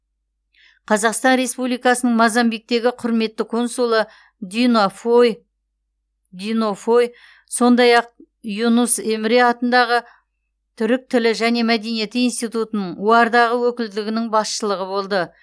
қазақстан республикасының мозамбиктегі құрметті консулы дино фой сондай ақ юнус эмре атындағы түрік тілі және мәдениеті институтының оар дағы өкілдігінің басшылығы болды